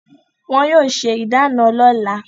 Wọn yóò se ìdána lọ́la.